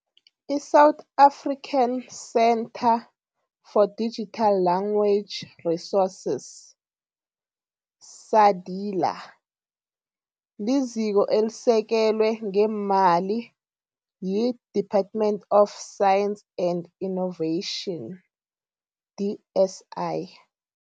I-South African Centre for Digital Language Resources, SADiLaR, liziko elisekelwe ngeemali yi-"Department of Science and Innovation, DSI.